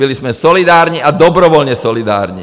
Byli jsme solidární, a dobrovolně solidární.